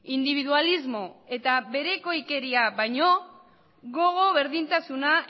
indibidualismo eta berekoikeria baino gogo berdintasuna